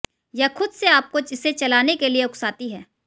यह खुद से आपको इसे चलाने के लिए उकसाती है